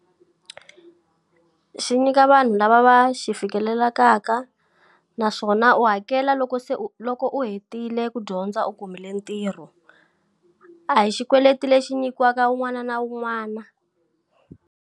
Xi nyika vanhu lava va xi fikelelaka naswona u hakela loko se u loko u hetile ku dyondza u kumile ntirho. A hi xikweleti lexi xi nyikiwaka wun'wana na wun'wana.